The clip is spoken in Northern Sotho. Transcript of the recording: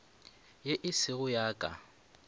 ye e sego ya ka